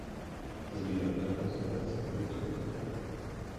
сбер как называется валюта в кнр